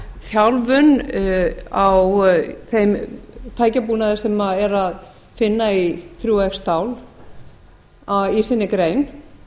þjálfun á fimm tækjabúnaði sem er að finna í þrjú xstál í sinni grein